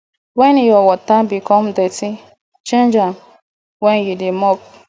wen your water become dirty change am wen you dey mop